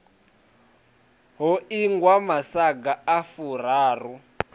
ho ingwa masaga a furaru